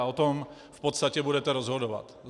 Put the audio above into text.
A o tom v podstatě budete rozhodovat.